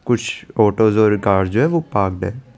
कुछ ऑटोप्रो कार है जो पार्केड है।